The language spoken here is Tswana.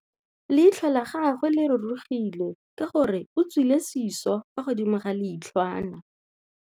Leitlhô la gagwe le rurugile ka gore o tswile sisô fa godimo ga leitlhwana.